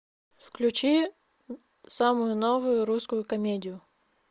включи самую новую русскую комедию